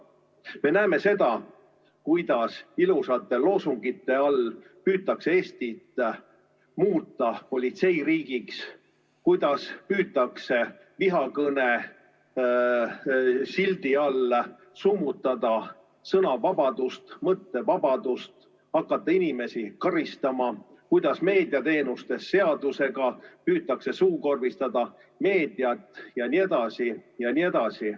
Me näeme seda, kuidas ilusate loosungite all püütakse Eestit muuta politseiriigiks, kuidas püütakse vihakõne sildi alla summutada sõnavabadust, mõttevabadust, hakata inimesi karistama, kuidas meediateenuste seadusega püütakse suukorvistada meediat jne, jne.